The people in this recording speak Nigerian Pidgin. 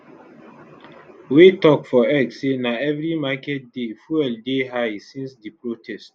wey tok for x say na every market day fuel dey high since di protest